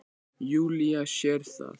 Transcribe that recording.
Júlía sér það.